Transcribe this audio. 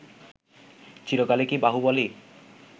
চিরকালই কি বাহুবলই